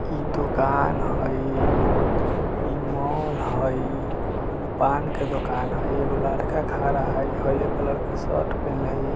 इ दुकान हई इ मॉल हई ओने पान की दुकान हई एगो लड़का खड़ा हई हरियर कलर के शर्ट पेहनले हई ।